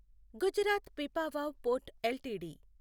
Gujarat Pipavav port LTD